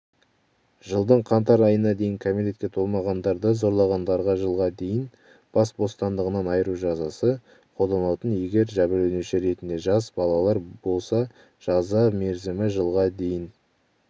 жылдың қаңтарынадейінкәмелетке толмағандарды зорлағандарға жылға дейін бас бостандығынан айыру жазасы қолданылатын егер жәбірленуші ретінде жас балалар болса жаза мерзімі жылға дейін